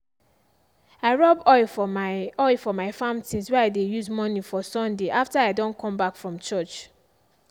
i rub oil for my oil for my farm things way i dey use morning for sunday after i don come back from church.